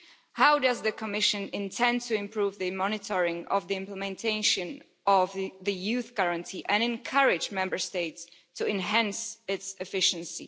How does the Commission intend to improve the monitoring of the implementation of the Youth Guarantee and encourage Member States to enhance its efficiency?